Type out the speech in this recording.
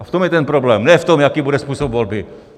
A v tom je ten problém, ne v tom, jaký bude způsob volby.